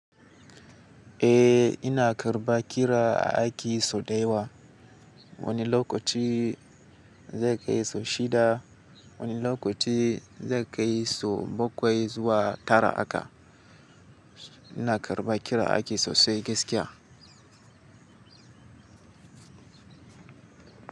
Eh, ina karɓa kira a aki so ɗaya wa. Wani lokaci zai kai so shida. Wani lokaci zai kai so bakwai zuwa tara aka. Ina karɓa kira a aiki sosai gaskiya.